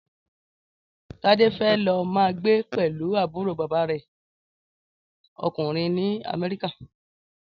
Tade fè lò mà gbé pèlú àbúró bàbá rè (òkúnrìn) ni Amèriká